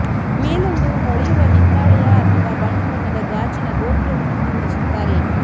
ಮೇಲೊಂದು ಹೊಳೆಯುವ ಹಿತ್ತಾಳೆಯ ಅಥವಾ ಬಣ್ಣ ಬಣ್ಣದ ಗಾಜಿನ ಗೋಪುರವನ್ನೂ ಮೂಡಿಸುತ್ತಾರೆ